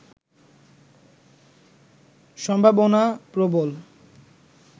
সম্ভাবনা প্রবল